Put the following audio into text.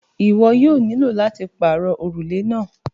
Ìwọ yóò nílọ láti parọ orúlẹ̀ náà.